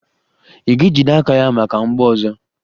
Ị ga-ejide aka ya maka mgbọ ọzọ!